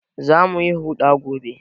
Za mu yi huɗa gobe